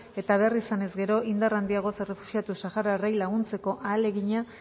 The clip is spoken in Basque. eta behar izan ezkero indar handiagoz errefuxiatu sahararrei laguntzeko ahalegina